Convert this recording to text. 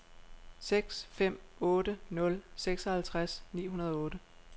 seks fem otte nul seksoghalvtreds ni hundrede og otte